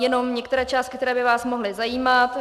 Jenom některé částky, které by vás mohly zajímat.